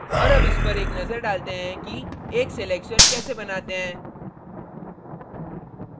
और अब इस पर एक नजर डालते हैं कि एक selection कैसे बनाते हैं